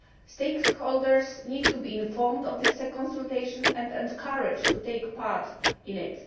Stakeholders need to be informed of this consultation and encouraged to take part in